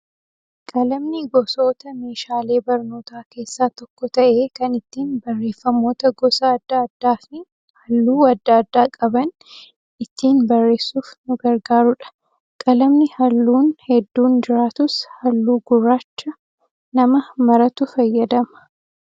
Qalamni gosoota meeshaalee barnootaa keessaa tokko ta'ee kan ittiin barreeffamoota gosa adda addaa fi halluu adda addaa qaban ittiin barreessuuf nu gargaarudha. Qalamni halluun hedduun jiraatus halluu gurraacha nama maratu fayyadama.